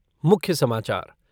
मुख्य समाचार .